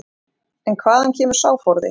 En hvaðan kemur sá forði?